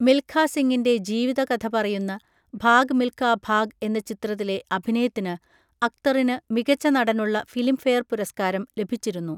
മിൽഖാ സിങിന്റെ ജീവിതകഥ പറയുന്ന ഭാഗ് മിൽഖാ ഭാഗ് എന്ന ചിത്രത്തിലെ അഭിനയത്തിന് അക്തറിന് മികച്ച നടനുള്ള ഫിലിംഫെയർ പുരസ്കാരം ലഭിച്ചിരുന്നു.